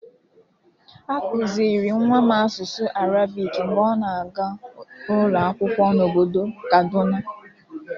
A kụzịrị nwa m asụsụ arabik mgbe ọ na-aga ụlọakwụkwọ n'obodo kaduna.